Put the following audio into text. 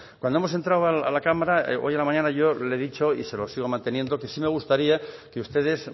cuando hemos entrado a la cámara hoy a la mañana yo le he dicho y se lo sigo manteniendo que sí me gustaría que ustedes